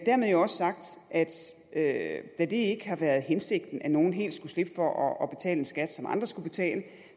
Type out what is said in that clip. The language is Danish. dermed er også sagt at da det ikke har været hensigten at nogle helt skulle slippe for at betale en skat som andre skulle betale